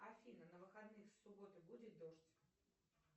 афина на выходных с субботы будет дождь